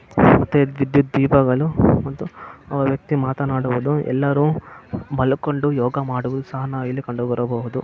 ವಿದ್ಯುತ್ ದೀಪಗಳು ಮತ್ತು ಒಂದು ವ್ಯಕ್ತಿ ಮಾತನಾಡುವುದು ಎಲ್ಲಾರು ಮಲ್ಕೊಂಡು ಯೋಗಾ ಮಾಡವುದು ಸಹ ನಾವು ಇಲ್ಲಿ ಕಂಡು ಬರಬಹುದು.